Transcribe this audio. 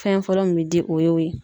Fɛn fɔlɔ min be di o y'o ye.